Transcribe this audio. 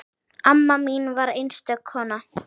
Amma mín var einstök kona.